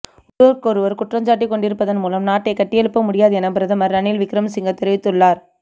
ஒருவருக்கொருவர் குற்றஞ்சாட்டிக்கொண்டிருப்பதன் மூலம் நாட்டைக் கட்டியெழுப்ப முடியாது என பிரதமர் ரணில் விக்ரமசிங்க தெரிவித்துள்ளார்